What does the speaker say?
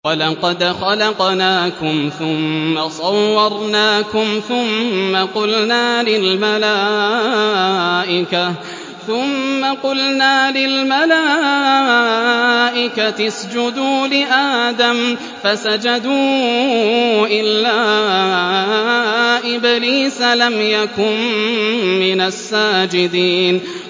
وَلَقَدْ خَلَقْنَاكُمْ ثُمَّ صَوَّرْنَاكُمْ ثُمَّ قُلْنَا لِلْمَلَائِكَةِ اسْجُدُوا لِآدَمَ فَسَجَدُوا إِلَّا إِبْلِيسَ لَمْ يَكُن مِّنَ السَّاجِدِينَ